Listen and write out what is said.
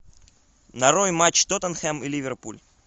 нарой матч тоттенхэм и ливерпуль